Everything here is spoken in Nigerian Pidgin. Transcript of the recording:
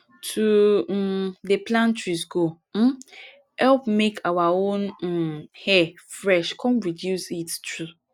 to um dey plant trees go um help make our um air fresh come reduce heat too